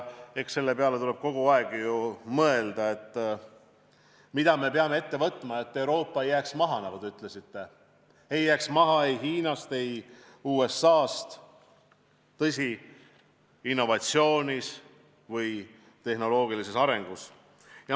Eks selle peale tuleb ju kogu aeg mõelda, mida me peame ette võtma, et Euroopa ei jääks maha, nagu te ütlesite, ei jääks maha ei Hiinast ega USA-st innovatsioonis või tehnoloogilises arengus.